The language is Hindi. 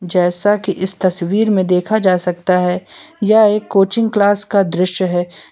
जैसा कि इस तस्वीर में देखा जा सकता है यह एक कोचिंग क्लास का दृश्य है।